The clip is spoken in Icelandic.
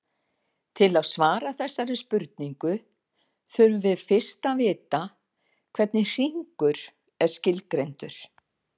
Til að svara þessari spurningu þurfum við fyrst að vita hvernig hringur er skilgreindur.